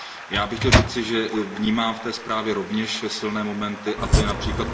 Já bych chtěl říci, že vnímám v té zprávě rovněž silné momenty, a to je např.